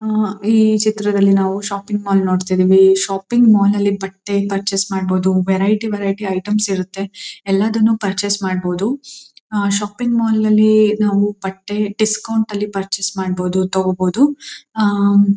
ಹಾ ಈ ಚಿತ್ರದಲ್ಲಿ ನಾವು ಶಾಪಿಂಗ್ ಮಾಲ್ ನೋಡ್ತಿದ್ದೀವಿ. ಈ ಶಾಪಿಂಗ್ ಮಾಲ್ ನಲ್ಲಿ ಬಟ್ಟೆ ಪರ್ಚೆಸ್ ಮಾಡಬಹುದು. ವೆರೈಟಿ ವೆರೈಟಿ ಐಟೆಮ್ಸ ಇರುತ್ತೆ. ಎಲ್ಲದನ್ನು ಪರ್ಚೆಸ್ ಮಾಡಬಹುದು. ಆ ಶಾಪಿಂಗ್ ಮಾಲ್ ನಲ್ಲಿ ನಾವು ಬಟ್ಟೆ ಡಿಸ್ಕೌಂಟ್ ನಲ್ಲಿ ಪರ್ಚೆಸ್ ಮಾಡಬಹುದು ತಗೋಬಹುದು. ಆ ಮ್.